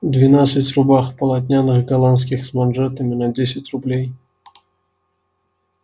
двенадцать рубах полотняных голландских с манжетами на десять рублей